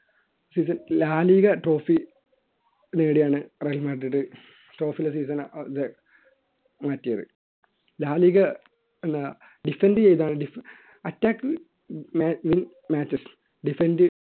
ഇത് La Liga trophy നേടിയാണ് Real മാഡ്രില് മാറ്റിയത് ലാലിഗ എന്ന defend ചെയ്താണ് attacking defend